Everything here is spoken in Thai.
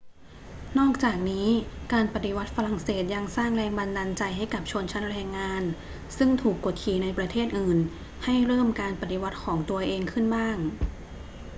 นอกจากนี้ การปฏิวัติฝรั่งเศสยังสร้างแรงบันดาลใจให้กับชนชั้นแรงงานซึ่งถูกกดขี่ในประเทศอื่นให้เริ่มการปฏิวัติของตัวเองขึ้นบ้าง